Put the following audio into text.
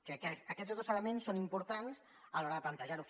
crec que aquests dos elements són importants a l’hora de plantejar ho